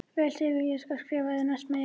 Vel Sigurður ég skal skrifa yður næst meir.